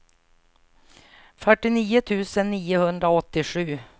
fyrtionio tusen niohundraåttiosju